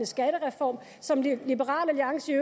skattereform som liberal alliance i